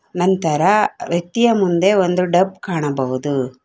ನಂತರ ವ್ಯಕ್ತಿಯ ಮುಂದೆ ಒಂದು ಡಬ್ ಕಾಣಬಹುದು.